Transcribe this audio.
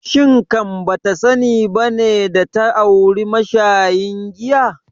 Shin kan bata sani bane data auri mashayin giya?